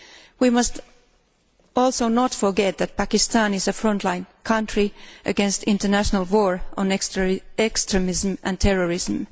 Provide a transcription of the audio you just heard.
We must also not forget that Pakistan is a frontline country in the international war on extremism and terrorism.